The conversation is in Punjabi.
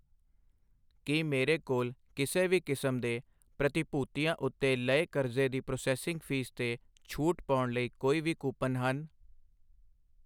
ਕੀ ਮੇਰੇ ਕੋਲ ਕਿਸੇ ਵੀ ਕਿਸਮ ਦੇ ਪ੍ਰਤੀਭੂਤੀਆਂ ਉੱਤੇ ਲਏ ਕਰਜ਼ੇ ਦੀ ਪ੍ਰੋਸੈਸਿੰਗ ਫ਼ੀਸ 'ਤੇ ਛੋਟ ਪਾਉਣ ਲਈ ਕੋਈ ਕੂਪਨ ਹਨ?